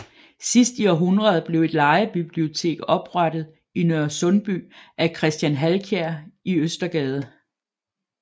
Sidst i århundredet blev et lejebibliotek oprettet i Nørresundby af Christian Halkier i Østergade